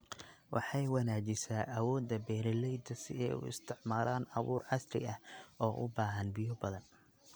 Waxay wanaajisaa awoodda beeralayda si ay u isticmaalaan abuur casri ah oo u baahan biyo badan.